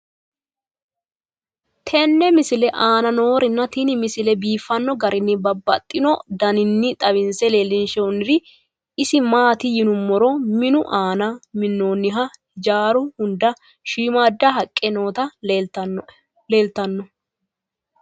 tenne misile aana noorina tini misile biiffanno garinni babaxxinno daniinni xawisse leelishanori isi maati yinummoro minnu aanna minaminoha hijjaru hunda shiimmada haqqe nootti leelittanno